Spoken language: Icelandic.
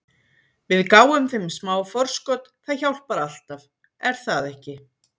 Við gáfum þeim smá forskot- það hjálpar alltaf, er það ekki?